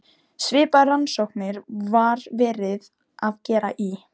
Svipaðar rannsóknir var verið að gera í